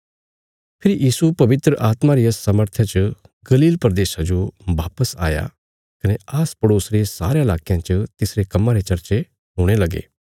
फेरी यीशु पवित्र आत्मा रिया सामर्थय च गलील प्रदेशा जो वापस आया कने आसपड़ोस रे सारेयां लाकयां च तिसरे कम्मां रे चर्चे हुणे लगे